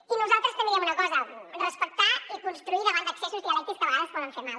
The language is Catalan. i nosaltres també diem una cosa respectar i construir davant d’excessos dialèctics que a vegades poden fer mal